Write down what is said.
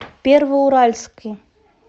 первоуральске